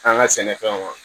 An ka sɛnɛfɛnw